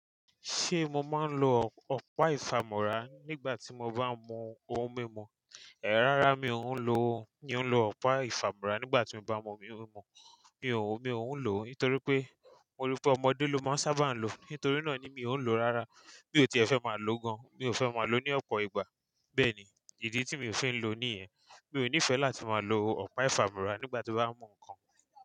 Ṣé mo máa ń lo ọ̀pá ìfàmọ́ra nígbà tí mo bá ń mu ohun mímu? Ẹ̀, rárá mi ò ń lo, mi ò ń lo ọ̀pá ìfàmúra nígbà tí mo bá ń mu ohun mímu. Mi ò, mi ò ń lò ó nítorí pé mo rí i pé ọmọdé ló máa ń sábà ń lò ó. Nítorí náà ni mi ò ń lò ó rárá. Mi ò ti fẹ́ máa lò ó gan. Mi ò fẹ́ máa lò ó ní ọ̀pọ̀ ìgbà. Bẹ́ẹ̀ ni, ìdí tí mi ò fi ń lo ní ẹ. Mi ò nífẹ̀ẹ́ láti máa lo ọ̀pá ìfàmúra nígbà tí mo bá ń mu nǹkan.